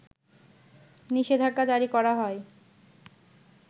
নিষেধাজ্ঞা জারি করা হয়